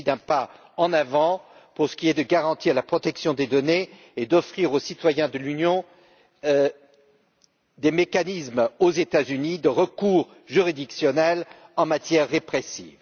Il s'agit d'un pas en avant pour ce qui est de garantir la protection des données et d'offrir aux citoyens de l'Union des mécanismes, aux États Unis, de recours juridictionnel en matière répressive.